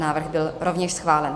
Návrh byl rovněž schválen.